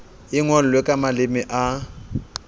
e ngolwe ka maleme a